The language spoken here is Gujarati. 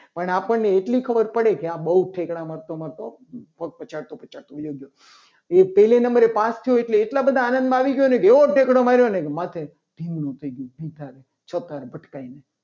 પણ આપણને એટલી ખબર પડે કે આ બહુ ઠેકડા મારતો મારતો પગ પછાત તો પછાત તો વયો ગયો. એ પહેલા નંબરે પાસ થયો હશે. એટલા માટે એટલા બધા આનંદમાં આવી ગયો. ને તે એવો એકલો માર્યો ને કે માથે ધિમનું થઈ ગયું. છોકરા ભટકાઈને.